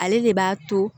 Ale de b'a to